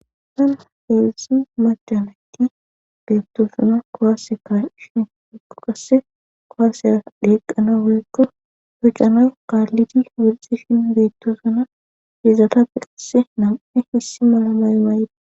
Heedzdzu macanakki beettosuna kowaaseka shin mikko qasse kowaaseya deeqana woyekko hucanoy kaallidi wirxishin beettosuna hiizata piqase nam7e hissi mala mayo mayde.